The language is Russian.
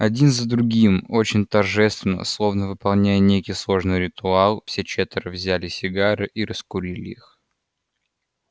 один за другим очень торжественно словно выполняя некий сложный ритуал все четверо взяли сигары и раскурили их